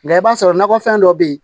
Nka i b'a sɔrɔ nakɔ fɛn dɔ be yen